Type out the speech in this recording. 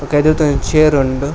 ಬೊಕ ಉಂದೆತ ಒಂಜಿ ಚೇರ್ ಉಂಡು.